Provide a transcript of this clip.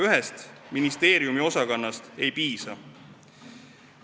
Ühest ministeeriumiosakonnast ei piisa.